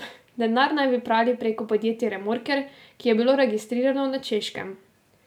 Denar naj bi prali preko podjetja Remorker, ki je bilo registrirano na Češkem.